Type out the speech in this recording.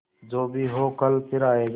जो भी हो कल फिर आएगा